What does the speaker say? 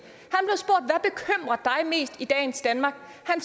han mest i dagens danmark